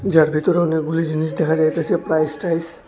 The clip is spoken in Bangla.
যার ভিতরে অনেকগুলি জিনিস দেখা যাইতাছে প্রাইস ট্রাইস।